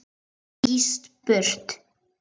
Ég skýst burt.